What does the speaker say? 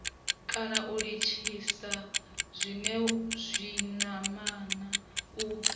kana u litshisa zwinamana u